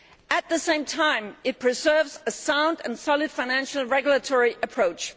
At the same time it preserves a sound and solid financial regulatory approach.